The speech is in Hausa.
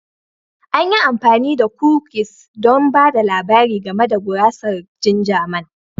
An yi amfani da kukis don ba da labari game da gurasar ginger Man